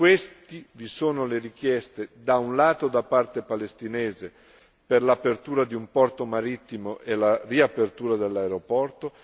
Tra questi vi sono le richieste, da un lato da parte palestinese per l'apertura di un porto marittimo e la riapertura dell'aeroporto